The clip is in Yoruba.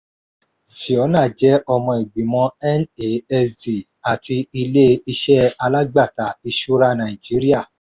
fiona jẹ́ ọmọ ìgbìmọ̀ nasd àti ilé-iṣẹ́ alágbàtà ìṣura nàìjíríà.